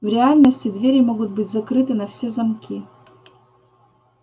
в реальности двери могут быть закрыты на все замки